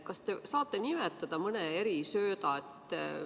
Kas te saate nimetada mõne erisööda?